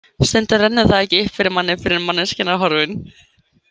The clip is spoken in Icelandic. Stundum rennur það ekki upp fyrir manni fyrr en manneskjan er horfin.